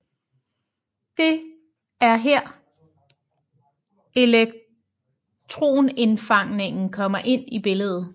Det er her elektronindfangning kommer ind i billedet